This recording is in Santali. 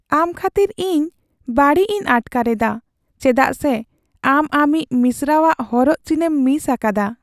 ᱟᱢ ᱠᱷᱟᱹᱛᱤᱨ ᱤᱧ ᱵᱟᱹᱲᱤᱡ ᱤᱧ ᱟᱴᱠᱟᱨ ᱮᱫᱟ ᱪᱮᱫᱟᱜ ᱥᱮ ᱟᱢ ᱟᱢᱤᱡ ᱢᱤᱥᱨᱟᱣᱟᱜ ᱦᱚᱨᱚᱜ ᱪᱤᱱᱮᱢ ᱢᱤᱥ ᱟᱠᱟᱫᱟ ᱾